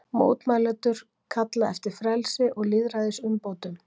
Mótmælendur kalla eftir frelsi og lýðræðisumbótum